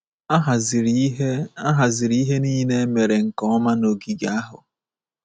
A haziri ihe A haziri ihe nile a emere nke ọma n’ogige ahụ.